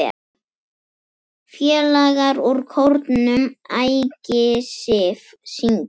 Félagar úr kórnum Ægisif syngja.